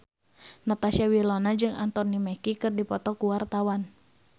Natasha Wilona jeung Anthony Mackie keur dipoto ku wartawan